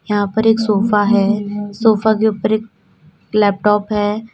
यहां पर एक सोफा है। सोफा के ऊपर एक लैपटॉप है।